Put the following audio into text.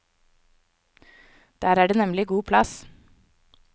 Der er det nemlig god plass.